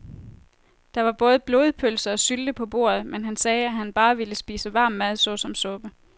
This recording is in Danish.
Der var både blodpølse og sylte på bordet, men han sagde, at han bare ville spise varm mad såsom suppe.